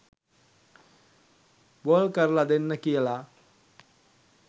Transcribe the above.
ball කරල දෙන්න කියලා